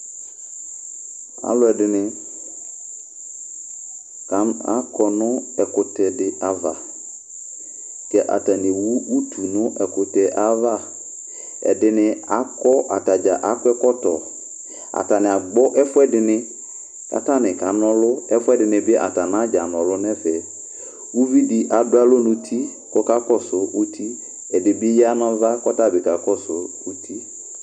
Aalʋɛɖini akɔ nʋ ɛkʋtɛɖi ava kɛ atani ewu ʋtu nʋ ɛkʋtɛyɛ avaƐɖini akɔatadza aɖʋ ɛkɔtɔAtani agbɔ ɛfʋɛɖini k'atani kanʋ'ɔlʋƐfuɛɖinibi atani anadza n'ʋlɔ nɛfɛƲviɖi aɖʋ alɔ nʋ uti k'okakɔsu uti, ɛɖibi ya n'ava kʋ ɔtabi kakɔsʋ uti